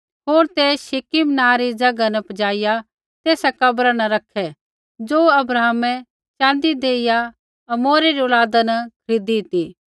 होर ते शिकिम नाँ री ज़ैगा न पजाइआ तेसा कब्रा न रैखै ज़ो अब्राहमै च़ाँदी देइआ हमोरै री औलादा न खरीदू ती